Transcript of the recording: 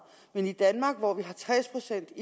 men i danmark hvor vi har tres procent